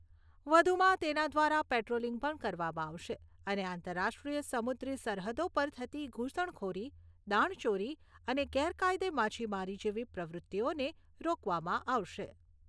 વધુમાં, તેના દ્વારા પેટ્રોલિંગ પણ કરવામાં આવશે અને આંતરરાષ્ટ્રીય સમુદ્રી સરહદો પર થતી ઘુસણખોરી, દાણચોરી અને ગેરકાયદે માછીમારી જેવી પ્રવૃત્તિઓને રોકવામાં આવશે.